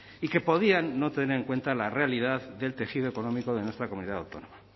y que podían no tener en cuenta la realidad del tejido económico de nuestra comunidad autónoma